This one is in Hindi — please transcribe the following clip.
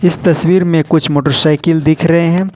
इस तस्वीर में कुछ मोटरसाइकिल दिख रहे हैं।